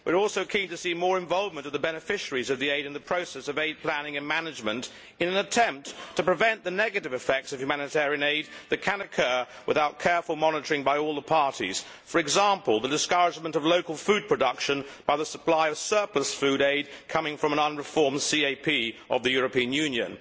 We are also keen to see more involvement of the beneficiaries of the aid in the process of aid planning and management, in an attempt to prevent the negative effects of humanitarian aid that can occur without careful monitoring by all the parties, for example the discouragement of local food production by the supply of surplus food aid coming from an unreformed CAP of the European Union.